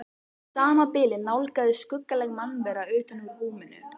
Í sama bili nálgaðist skuggaleg mannvera utan úr húminu.